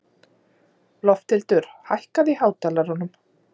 Lofthildur, hækkaðu í hátalaranum.